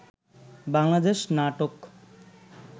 Bangladesh নাটোক